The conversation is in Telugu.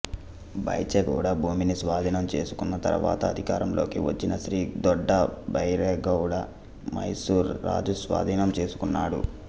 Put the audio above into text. బైచెగౌడ భూమిని స్వాధీనం చేసుకున్న తరువాత అధికారంలోకి వచ్చిన శ్రీ దొడ్డ బైరెగౌడ మైసూర్ రాజు స్వాధీనం చేసుకున్నాడు